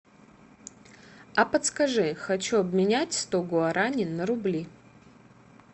а подскажи хочу обменять сто гуарани на рубли